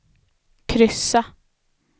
kryssa